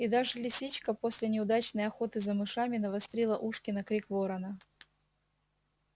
и даже лисичка после неудачной охоты за мышами навострила ушки на крик ворона